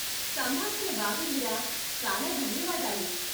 సంభాషణ బాగుంది రా! చాలా ధన్యవాదాలు.